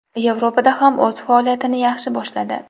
Yevropada ham o‘z faoliyatini yaxshi boshladi.